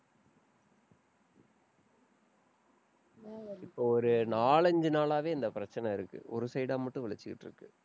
இப்ப ஒரு நாலஞ்சு நாளாவே, இந்த பிரச்சனை இருக்கு. ஒரு side ஆ மட்டும் வலிச்சுக்கிட்டிருக்கு.